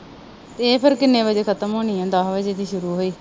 ਇਹ ਫਿਰ ਕਿੰਨੇ ਵਜੇ ਖਤਮ ਹੋਣੀ ਆ, ਦਸ ਵਜੇ ਦੀ ਸ਼ੁਰੂ ਹੋਈ।